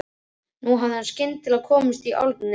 Nú hafði hún skyndilega komist í álnir.